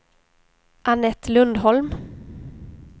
Annette Lundholm